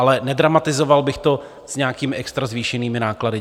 Ale nedramatizoval bych to s nějakými extra zvýšenými náklady.